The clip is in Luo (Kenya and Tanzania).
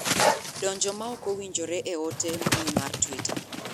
donjo ma ok owinjore e ote mbui mar twita